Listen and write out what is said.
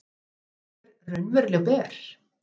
Eru vínber raunverulega ber?